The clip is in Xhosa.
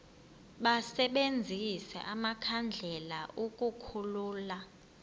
basebenzise amakhandlela ukukhulula